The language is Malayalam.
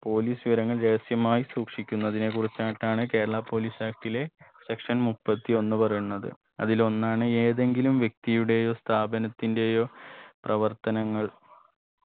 police വിവരങ്ങൾ രഹസ്യമായി സൂക്ഷിക്കുന്നതിനെ കുറിച്ച ട്ടാണ് കേരള police act ലെ section മുപ്പത്തി ഒന്ന് പറയുന്നത് അതിലൊന്നാണ് ഏതെങ്കിലും വ്യക്തിയുടെയോ സ്ഥാപനത്തിന്റെയോ പ്രവർത്തനങ്ങൾ